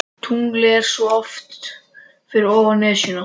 Tunglið er svo oft fyrir ofan Esjuna.